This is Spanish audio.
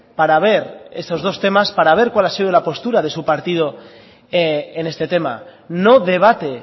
para ver estos dos temas para ver cuál ha sido la postura de su partido en este tema no debate